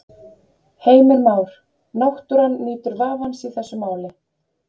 Heimir Már: Náttúran nýtur vafans í þessu máli?